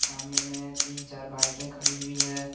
सामने में तीन चार बाइके खड़ी हुई है।